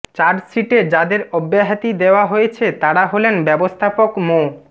চার্জশিটে যাদের অব্যাহতি দেওয়া হয়েছে তারা হলেন ব্যবস্থাপক মো